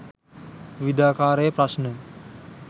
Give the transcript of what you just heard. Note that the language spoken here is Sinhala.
විවිධාකාරයේ ප්‍රශ්න.